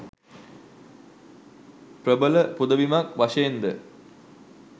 ප්‍රබල පුදබිමක් වශයෙන් ද